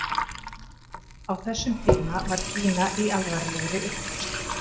Á þessum tíma var Kína í alvarlegri upplausn.